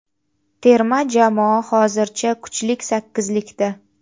terma jamoa hozircha kuchlik sakkizlikda.